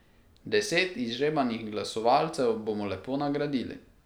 Deset izžrebanih glasovalcev bomo lepo nagradili.